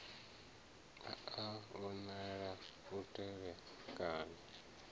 a a vhonala u tevhekana